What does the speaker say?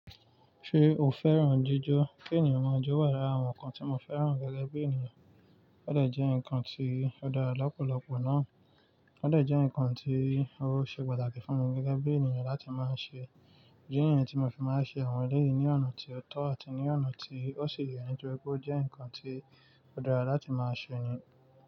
Ṣé o fẹ́ràn jíjọ́? Kí ènìyàn máa jó wà lára àwọn nǹkan tí mo fẹ́ràn gẹ́gẹ́ bí ènìyàn. Ó dẹ̀ jẹ́ nǹkan tí ó dára lọ́pọ̀lọpọ̀ náà. Ó dẹ̀ jẹ́ nǹkan tí ó ṣe pàtàkì fún mi gẹ́gẹ́ bí ènìyàn láti máa ṣe. Idi ni yii tí mo fi máa ń ṣe àwọn ẹlẹ́yìí ní ọ̀nà tí ó tọ́ àti ní ọ̀nà tí ó si yẹ nítoripe ó jẹ́ nǹkan tí ó dára láti máa ṣe ni.